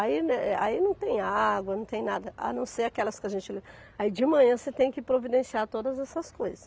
Aí né, aí não tem água, não tem nada, a não ser aquelas que a gente le... Aí de manhã você tem que providenciar todas essas coisas.